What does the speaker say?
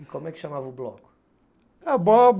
E como é que chamava o bloco?